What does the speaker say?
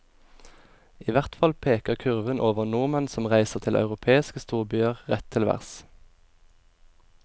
Ihvertfall peker kurven over nordmenn som reiser til europeiske storbyer rett til værs.